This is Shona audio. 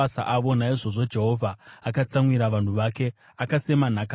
Naizvozvo Jehovha akatsamwira vanhu vake, akasema nhaka yake.